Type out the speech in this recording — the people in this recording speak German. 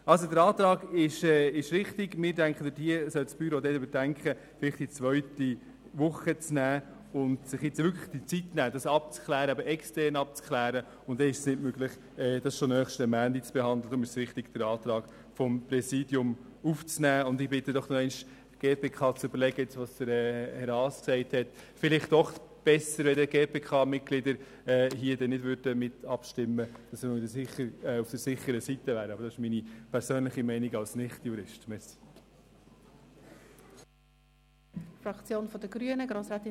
Dementsprechend haben wir in unserem Ordnungsantrag den Vorschlag gemacht, das Geschäft in die Septembersession und innerhalb der Septembersession nicht auf die erste Woche, sondern auf die zweite Woche zu verschieben, damit